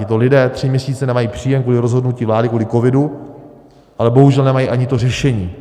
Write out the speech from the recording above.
Tito lidé tři měsíce nemají příjem kvůli rozhodnutí vlády, kvůli covidu, ale bohužel nemají ani to řešení.